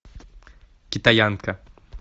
китаянка